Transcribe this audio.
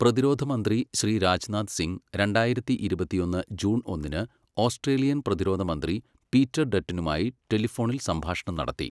പ്രതിരോധ മന്ത്രി ശ്രീ രാജ്നാഥ് സിംഗ് രണ്ടായിരത്തി ഇരുപത്തിയൊന്ന് ജൂണ് ഒന്നിന് ഓസ്ട്രേലിയൻ പ്രതിരോധമന്ത്രി പീറ്റർ ഡട്ടനുമായി ടെലിഫോണിൽ സംഭാഷണം നടത്തി.